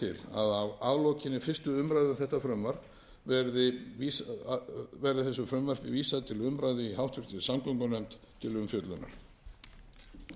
að leggja til að af aflokinni fyrstu umræðu um þetta frumvarp verði þessu frumvarpi vísað til umræðu í háttvirtri samgöngunefnd til umfjöllunar